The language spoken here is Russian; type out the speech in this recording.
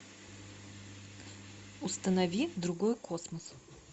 установи другой космос